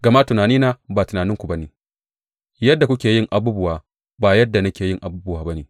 Gama tunanina ba tunaninku ba ne, yadda kuke yin abubuwa ba yadda nake yin abubuwa ba ne,